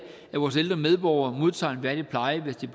at vores ældre medborgere modtager en værdig pleje hvis de